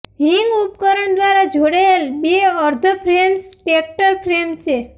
હિંગ ઉપકરણ દ્વારા જોડાયેલ બે અર્ધ ફ્રેમ્સ ટ્રેક્ટર ફ્રેમ છે